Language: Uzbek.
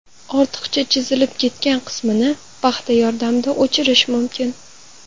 Ortiqcha chizilib ketgan qismini paxta yordamida o‘chirish mumkin.